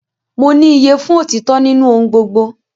Mo ní iyye fún otitọ nínú ohùn gbogbo